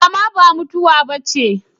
Rama ba mutuwa bace